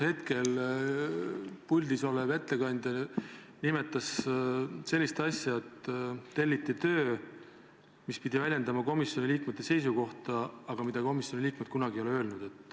Hetkel puldis olev ettekandja nimetas sellist asja, et telliti töö, mis pidi väljendama komisjoni liikmete seisukohta, aga komisjoni liikmed ei ole kunagi selliseid asju öelnud.